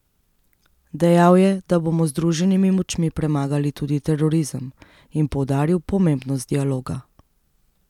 Dejal je, da bomo z združenimi močmi premagali tudi terorizem, in poudaril pomembnost dialoga.